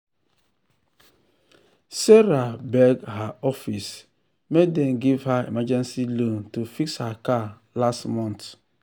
sarah beg her office make dem give her emergency loan to fix her car last month.